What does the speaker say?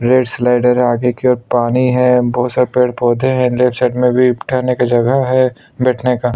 red slider है आगे की ओर पानी है बहुत सारे पेड़-पौधे है लेफ्ट साइड में भी ठहरने की जगह है बैठने का--